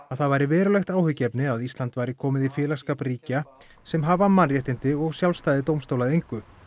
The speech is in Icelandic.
að það væri verulegt áhyggjuefni að Ísland væri komið í félagsskap ríkja sem hafa mannréttindi og sjálfstæði dómstóla að engu